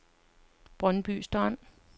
Brøndby Strand